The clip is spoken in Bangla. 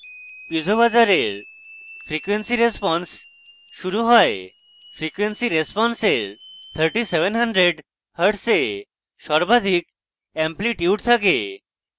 piezo buzzer এর frequency response শুরু has frequency response এর 3700hz এ সর্বাধিক এম্প্লিটিউড থাকে